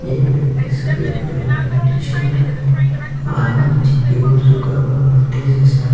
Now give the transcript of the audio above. एक व्यक्ति सफ़ेद कलर की टी-शर्ट में आधा नीचे की और झुका हुआ बैठे जैसा है।